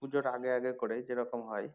পুজোর আগে আগে করে যেরকম হয়